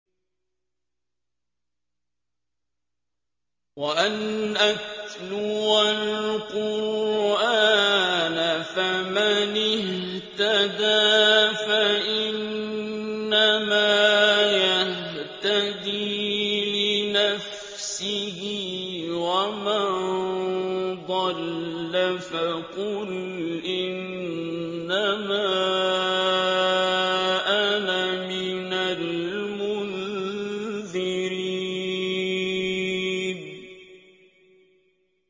وَأَنْ أَتْلُوَ الْقُرْآنَ ۖ فَمَنِ اهْتَدَىٰ فَإِنَّمَا يَهْتَدِي لِنَفْسِهِ ۖ وَمَن ضَلَّ فَقُلْ إِنَّمَا أَنَا مِنَ الْمُنذِرِينَ